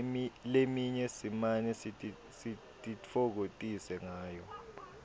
leminye simane sititfokotise ngayo